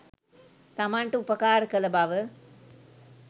තමන්ට උපකාර කළ බව